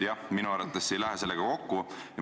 ... siis minu arvates see ei lähe sellega kokku.